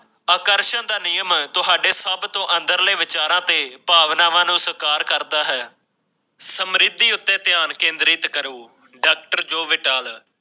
ਆਕਰਸ਼ਨ ਦਾ ਨਿਯਮ ਤੁਹਾਡੇ ਸਭ ਤੋਂ ਅੰਦਰਲੇ ਵਿਚਾਰਾ ਦੇ ਭਾਵਨਾਵਾਂ ਨੂੰ ਸਰਕਾਰ ਕਰਦਾ ਹੈ ਸਮਰਿੱਧੀ ਉੱਤੇ ਧਿਆਨ ਕੇਂਦਰਿਤ ਕਰੋ ਡਾਕਟਰ ਜਿੰਦਲ